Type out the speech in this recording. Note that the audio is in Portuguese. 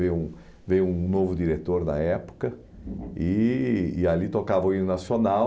Veio um veio um novo diretor da época e e ali tocava o hino nacional.